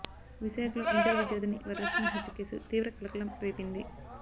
విశాఖలో ఇంటర్ విద్యార్థిని వరలక్ష్మి హత్య కేసు తీవ్ర కలకలం రేపింది